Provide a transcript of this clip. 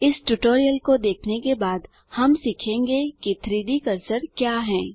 इस ट्यूटोरियल को देखने के बाद हम सीखेंगे कि 3Dकर्सर क्या है